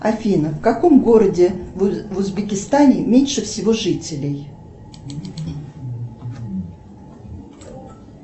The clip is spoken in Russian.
афина в каком городе в узбекистане меньше всего жителей